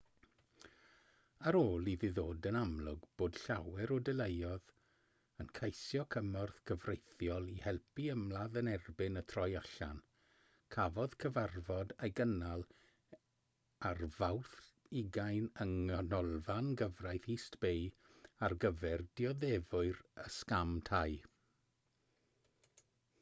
ar ôl iddi ddod yn amlwg bod llawer o deuluoedd yn ceisio cymorth cyfreithiol i helpu ymladd yn erbyn y troi allan cafodd cyfarfod ei gynnal ar fawrth 20 yng nghanolfan gyfraith east bay ar gyfer dioddefwyr y sgam tai